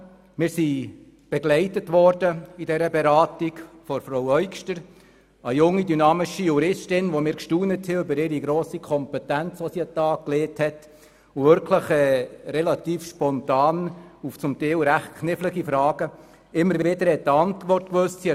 Wir wurden dabei begleitet von Frau Eugster, einer jungen, dynamischen Juristin, bei der wir über ihre grosse, juristische Kompetenz gestaunt haben, die sie an den Tag legte und wirklich recht spontan auf teilweise ziemlich knifflige Fragen immer wieder Antworten wusste.